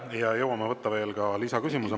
Ja jõuame võtta veel lisaküsimuse.